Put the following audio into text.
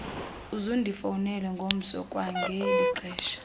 uzundifowunele ngomso kwangelixesha